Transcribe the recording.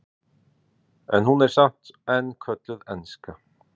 en hún er samt enn kölluð enska